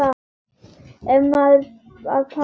Þá fer maður að pæla.